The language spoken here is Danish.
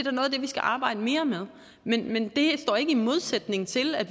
vi skal arbejde mere med men men det står ikke i modsætning til at